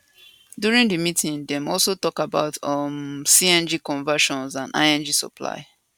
during di meeting dem also tok about um cng conversion and lng supply